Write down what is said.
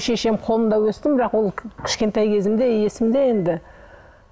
шешем қолында өстім бірақ ол кішкентай кезімде есімде енді